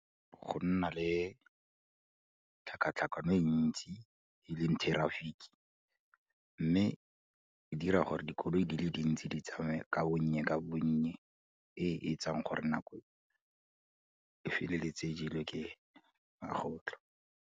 Go nna le tlhakatlhakano e ntsi, e leng traffic-e, mme di dira gore dikoloi di le dintsi di tsamaye ka bonye ka bonye, e e etsang gore nako e feleletse e jelwe ke magotlo.